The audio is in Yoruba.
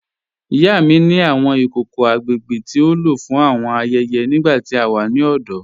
Ìyá mi ni awọn ikòkò agbègbè tí o ló fún awọn ayẹyẹ nígbà tí a wà ni ọdọ.